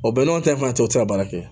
O bɛn n'o ta in fana cɛ o tɛ se ka baara kɛ